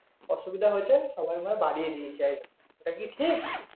অসুবিধা হয়েছে সবাই মনে হয় বারিয়ে দিয়ে যায় এ কি ঠিক